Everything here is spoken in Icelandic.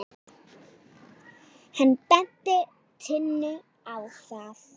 Hann benti Tinnu á það.